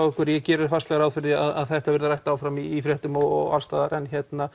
okkur ég geri fastlega ráð fyrir því að þetta verði rætt áfram í fréttum og alls staðar